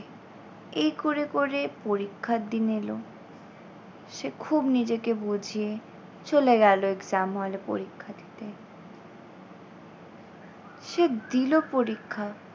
এই করে করে পরীক্ষার দিন এলো সে খুব নিজেকে বুঝিয়ে চলে গেল exam hall এ পরীক্ষা দিতে। সে দিলো পরীক্ষা।